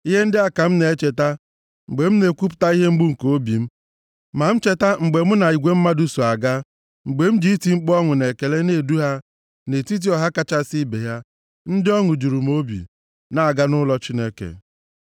Ihe ndị a ka m na-echeta mgbe m na-ekwupụta ihe mgbu nke obi m: ma m cheta mgbe mụ na igwe mmadụ so aga, mgbe m ji iti mkpu ọṅụ na ekele na-edu ha nʼetiti ọha kachasị ibe ya, ndị ọṅụ juru obi, na-aga nʼụlọ Chineke.